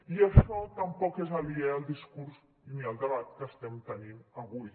i això tampoc és aliè al discurs ni al debat que estem tenint avui